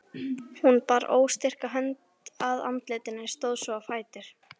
Hún bar óstyrka hönd að andlitinu, stóð svo á fætur.